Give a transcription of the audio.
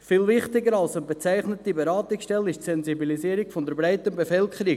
Viel wichtiger als eine bezeichnete Beratungsstelle ist die Sensibilisierung der breiten Bevölkerung.